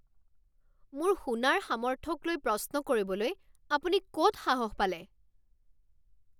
মোৰ শুনাৰ সামৰ্থক লৈ প্ৰশ্ন কৰিবলৈ আপুনি ক'ত সাহস পালে?